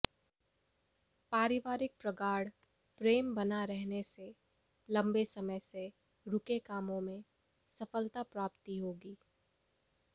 पारिवारिक प्रगाढ़ प्रेम बना रहने से लम्ब समय से रूके कामों में सफलता प्राप्ति होगी